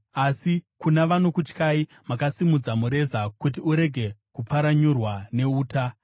Asi kuna vanokutyai, makasimudza mureza kuti urege kupfaranyurwa neuta. Sera